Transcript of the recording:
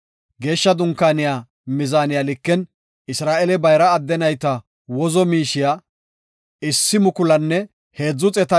Geeshsha Dunkaaniya mizaaniya liken Isra7eele bayra adde nayta wozo miishiya 1,365 bira santime ekis.